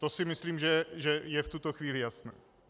To si myslím, že je v tuto chvíli jasné.